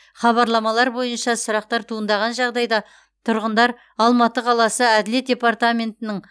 хабарламалар бойынша сұрақтар туындаған жағдайда тұрғындар алматы қаласы әділет департаментінің